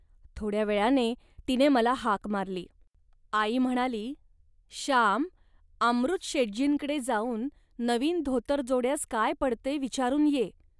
थोड्या वेळाने तिने मला हाक मारली. आई म्हणाली, "श्याम, अमृतशेटजींकडे जाऊन नवीन धोतरजोड्यास काय पडते विचारून ये